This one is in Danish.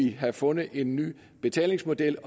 have fundet en ny betalingsmodel